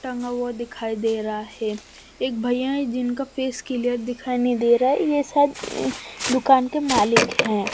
टंगा हुआ दिखाई दे रहा है एक भैया हैं जिनका फेस क्लियर दिखाई नहीं दे रहा है ये शायद दुकान के मालिक हैं।